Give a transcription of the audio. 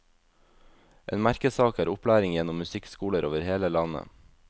En merkesak er opplæring gjennom musikkskoler over hele landet.